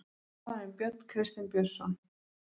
Þjálfarinn: Björn Kristinn Björnsson.